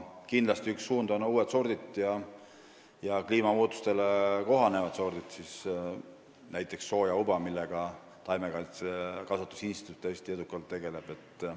Kindlasti on üks suund uued sordid, eelkõige kliimamuutustega kohanevad sordid, näiteks sojauba, millega taimekasvatuse instituut tõesti edukalt tegeleb.